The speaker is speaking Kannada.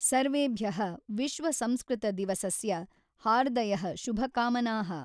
ಸರ್ವೇಭ್ಯಃ ವಿಶ್ವ ಸಂಸ್ಕೃತ ದಿವಸಸ್ಯ ಹಾರ್ದಯಃ ಶುಭಕಾಮನಾಃ